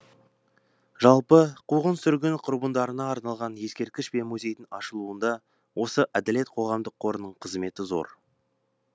жалпы қуғын сүргін құрбандарына арналған ескерткіш пен музейдің ашылуында осы әділет қоғамдық қорының қызметі зор